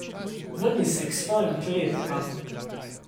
Vrni se k svojim kletkam.